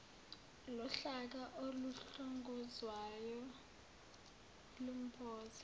lohlaka oluhlongozwayo lumboza